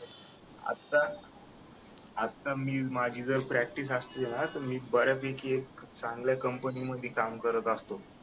आता आता मी माझी जर प्रॅक्टिस असते ना तर मी बऱ्यापैकी चांगल्या कंपनीमध्ये काम करत असतो